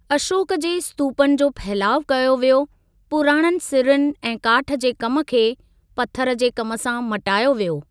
अशोक जे स्तूपनि जो फहिलाउ कयो वियो, पुराणनि सिरुनि ऐं काठ जे कमु खे पत्थरु जे कमु सां मटायो वियो।